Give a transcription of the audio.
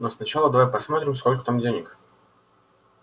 но сначала давай посмотрим сколько там денег